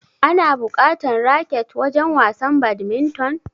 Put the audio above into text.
Ana bukatan raket wajen wasan badminton?